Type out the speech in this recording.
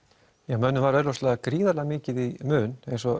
mönnum var augljóslega gríðarlega mikið í mun eins og